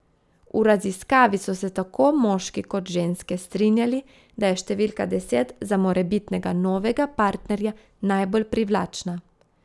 V raziskavi so se tako moški kot ženske strinjali, da je številka deset za morebitnega novega partnerja najbolj privlačna.